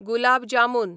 gulab jamun